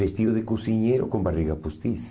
Vestidos de cozinheiro com barriga postiça.